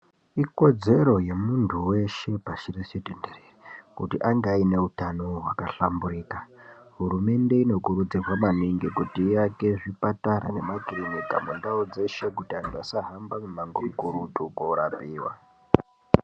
Ikodzero ye muntu weshe pashi reshe tenderere kuti ange aine hutano hwaka hlamburika hurumende ino kurudzirwa maningi kuti iake zvipatara ne makirinika mundau dzeshe kuti antu asa hamba mi mango mikurutu ko rapiwa.